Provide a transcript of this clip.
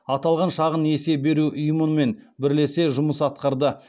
аталған шағын несие беру ұйымымен бірлесе жұмыс атқарды